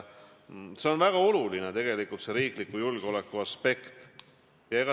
See on väga oluline tegelikult, see riikliku julgeoleku aspekt.